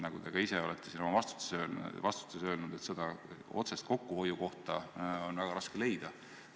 Nagu te ka ise olete oma vastustes öelnud, seda otsest kokkuhoiukohta on väga raske leida.